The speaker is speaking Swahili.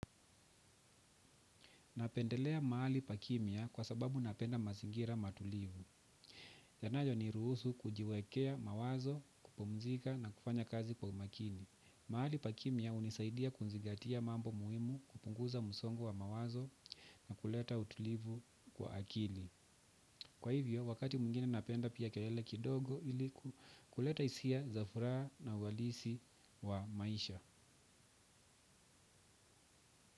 Napendelea mahali pakimya kwa sababu napenda mazingira matulivu. Yanayo niruhusu kujiwekea mawazo, kupumzika na kufanya kazi kwa umakini. Mahali pakimya unisaidia kunzigatia mambo muhimu, kupunguza musongo wa mawazo na kuleta utulivu kwa akili. Kwa hivyo, wakati mwingine napenda pia kelele kidogo, ili kuleta hisia za furaha na uhalisi wa maisha.